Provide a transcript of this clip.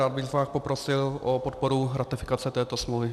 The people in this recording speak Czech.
Rád bych vás poprosil o podporu ratifikace této smlouvy.